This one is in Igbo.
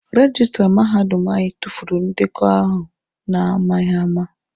Rejistra mahadum anyị tufuru ndekọ ahụ na-amaghịama.